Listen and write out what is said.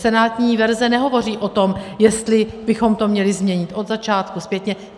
Senátní verze nehovoří o tom, jestli bychom to měli změnit od začátku zpětně.